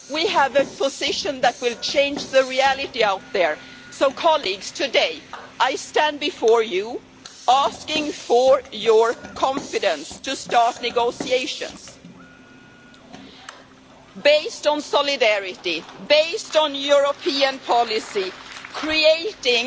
We have a position that will change the reality out there, so, colleagues, today I stand before you asking for your confidence to start negotiations based on solidarity, based on European policy, creating